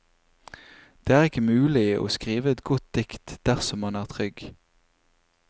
Det er ikke mulig å skrive et godt dikt dersom man er trygg.